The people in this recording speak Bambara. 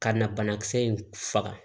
Ka na banakisɛ in faga